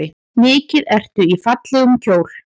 Mikið ertu í fallegum kjól.